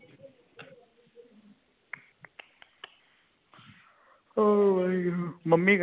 ਉਹ ਵਾਹਿਗੁਰੂ ਮੰਮੀ ਕਹਿੰਦੀ